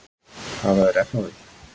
Hafa þeir efni á því?